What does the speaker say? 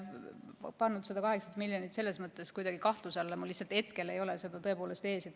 Ma ei pannud seda 8 miljonit kuidagi kahtluse alla, mul lihtsalt hetkel ei ole seda tõepoolest ees.